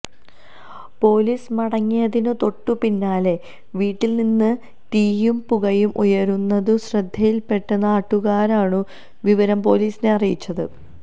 police മടങ്ങിയതിനു തൊട്ടു പിന്നാലെ വീട്ടിൽനിന്നു തീയും പുകയും ഉയരുന്നതു ശ്രദ്ധയിൽപെട്ട നാട്ടുകാരാണു വിവരം പൊലീസിനെ അറിയിച്ചത്